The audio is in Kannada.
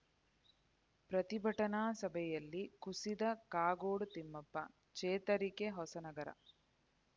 ಪ್ರತಿಭಟನಾ ಸಭೆಯಲ್ಲಿ ಕುಸಿದ ಕಾಗೋಡು ತಿಮ್ಮಪ್ಪ ಚೇತರಿಕೆ ಹೊಸನಗರ